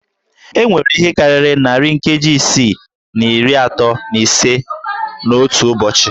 E nwere ihe karịrị narị nkeji isii na iri atọ na ise n'otu ụbọchị